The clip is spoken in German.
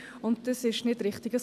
Dies ist nicht richtig.